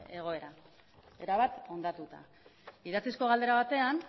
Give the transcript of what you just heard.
egoera erabat hondatuta idatzizko galdera batean